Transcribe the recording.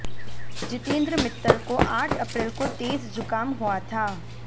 जितेंद्र मित्तल को आठ अप्रैल को तेज जुकाम हुआ था